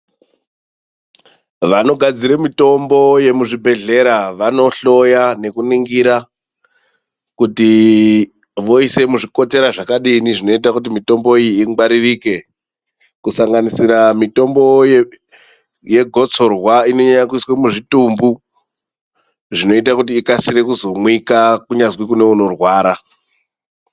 Vanogadzira mutombo yemuzvibhedhlera vanohloya nekuningira kuti voisa muzvikotera zvakadini zvinoite kuti mitombo iyi ingwaririke kusanganisira mitombo yegotsorwa inonyanya kuiswa muzvitumbu zvinoita kuti ikasire kuzomwika kunyazwi kune unorwara.